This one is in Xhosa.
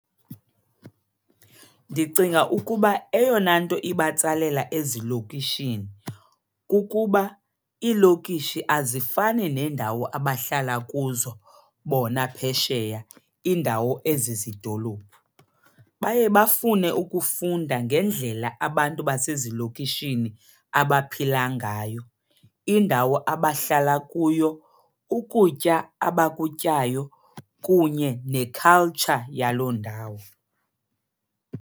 Ndicinga ukuba eyona nto ibatsalela ezilokishini kukuba iilokishi azifani neendawo abahlala kuzo bona phesheya, iindawo ezizidolophu. Baye bafune ukufunda ngendlela abantu basezilokishini abaphila ngayo, indawo abahlala kuyo, ukutya abakutyayo kunye ne-culture yaloo ndawo.